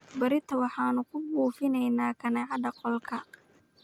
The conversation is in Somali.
Berrito waxaanu ku buufinaynaa kaneecada qolalka.